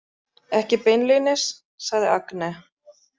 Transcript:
Ekki beinlínis, sagði Agne.